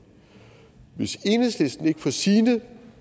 hvis enhedslisten ikke får sine